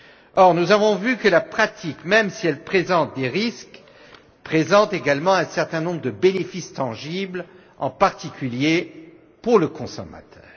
Or nous avons vu que la pratique, même si elle présente des risques, présente également un certain nombre de bénéfices tangibles, en particulier pour le consommateur.